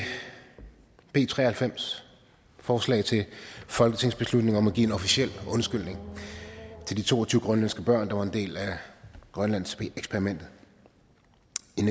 b tre og halvfems forslag til folketingsbeslutning om at give en officiel undskyldning til de to og tyve grønlandske børn der var en del af grønlandseksperimentet